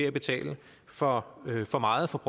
at betale for meget for meget for